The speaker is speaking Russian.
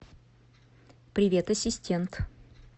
привет ассистент